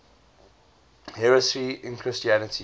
heresy in christianity